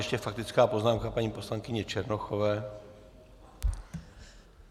Ještě faktická poznámka paní poslankyně Černochové.